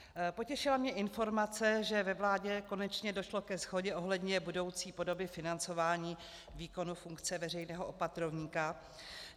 Potěšila mě informace, že ve vládě konečně došlo ke shodě ohledně budoucí podoby financování výkonu funkce veřejného opatrovníka.